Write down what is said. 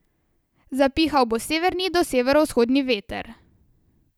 Zapihal bo severni do severovzhodni veter.